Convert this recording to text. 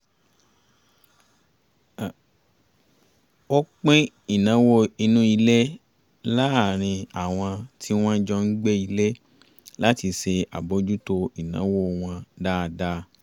ó pín ìnáwó inú ilé láàárín àwọn tí wọ́n jọ ń gbé ilé láti ṣe àbójútó ìnáwó wọn dáadáa